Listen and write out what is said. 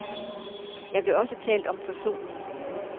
Der blev også talt om forsoning.